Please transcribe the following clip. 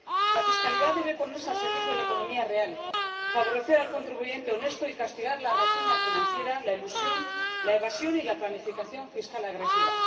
La fiscalidad debe ponerse al servicio de la economía real, favorecer al contribuyente honesto y castigar la rapiña financiera, la elusión, la evasión y la planificación fiscal agresiva.